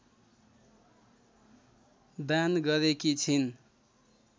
दान गरेकी छिन्